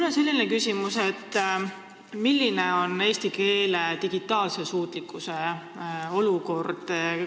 Mul on selline küsimus: milline on eesti keele olukord digitaalvaldkonnas?